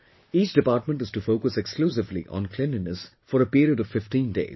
Each department is to focus exclusively on cleanliness for a period of 15 days